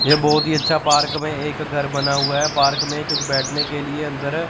ये बहुत ही अच्छा पार्क में एक घर बना हुआ है पार्क में कुछ बैठने के लिए अंदर--